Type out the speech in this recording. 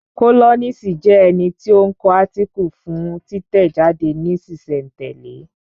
Kólọ́nisi jẹ́ ẹni tí ó ń kọ átíkù fún títẹ̀ jáde ní sísẹ̀ n tẹ̀lẹ́